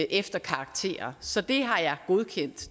efter karakterer så det har jeg godkendt